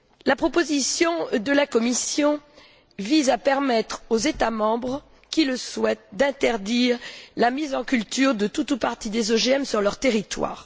La proposition de la Commission vise à permettre aux États membres qui le souhaitent d'interdire la mise en culture de tout ou partie des OGM sur leur territoire.